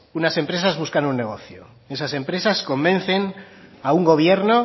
unas empresas buscan un negocio y esas empresas convencen a un gobierno